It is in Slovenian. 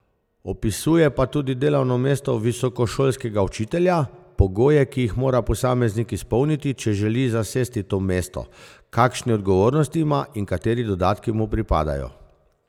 Opisuje pa tudi delovno mesto visokošolskega učitelja, pogoje, ki jih mora posameznik izpolniti, če želi zasesti to mesto, kakšne odgovornosti ima in kateri dodatki mu pripadajo.